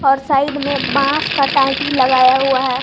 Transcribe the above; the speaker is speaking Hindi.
और साइड में बांस का टाटी लगाया हुआ है।